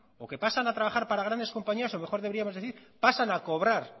o que pasan a trabajar para grandes compañías o mejor deberíamos decir pasan a cobrar